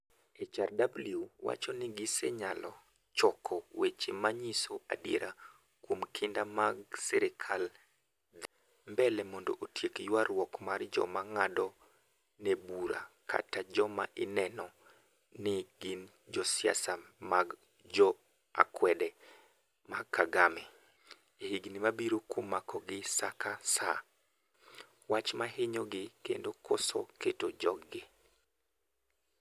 HRW wacho ni gisenyalo choko weche ma nyiso adiera kuom kinda mag serikal dhi. mbele mondo otiek yuarwuok mar joma ng'ado ne bura kata joma ineno ni gin josiasa mag jo akwede ma Kagame. e higni ma biro kuom makogi saka sa, wach mar hinyogi, kendo koso keto jog gi.